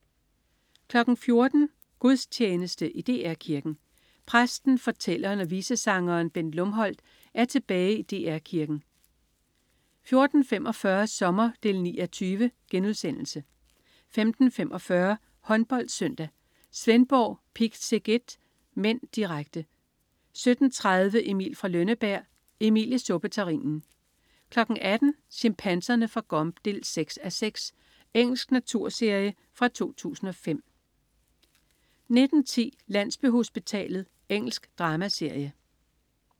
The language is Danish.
14.00 Gudstjeneste i DR Kirken. Præsten, fortælleren og visesangeren Bent Lumholt er tilbage i DR Kirken 14.45 Sommer 9:20* 15.45 HåndboldSøndag: Svendborg-Pick Szeged (m), direkte 17.30 Emil fra Lønneberg. Emil i suppeterrinen 18.00 Chimpanserne fra Gombe 6:6. Engelsk naturserie fra 2005 19.10 Landsbyhospitalet. Engelsk dramaserie